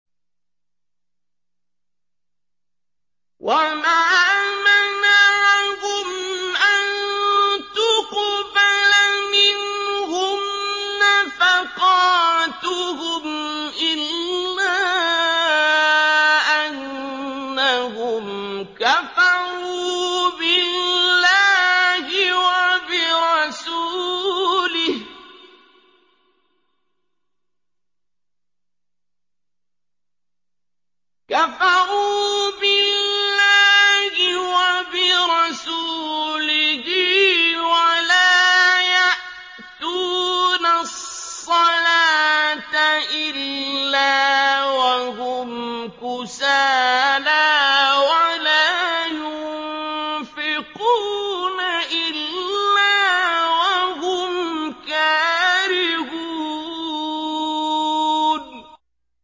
وَمَا مَنَعَهُمْ أَن تُقْبَلَ مِنْهُمْ نَفَقَاتُهُمْ إِلَّا أَنَّهُمْ كَفَرُوا بِاللَّهِ وَبِرَسُولِهِ وَلَا يَأْتُونَ الصَّلَاةَ إِلَّا وَهُمْ كُسَالَىٰ وَلَا يُنفِقُونَ إِلَّا وَهُمْ كَارِهُونَ